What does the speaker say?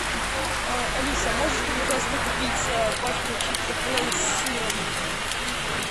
алиса можешь мне пожалуйста купить пачку чипсов лейс с сыром